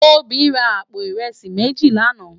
Tobi rá àpó irèsí méjí làná